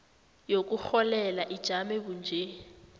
yokurholela ijame bunje